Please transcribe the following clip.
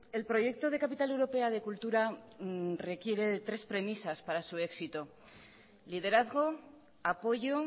el proyecto de capital europea de cultura requiere de tres premisas para su éxito liderazgo apoyo